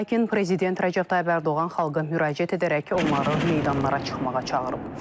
Lakin prezident Rəcəb Tayyib Ərdoğan xalqa müraciət edərək onları meydanlara çıxmağa çağırıb.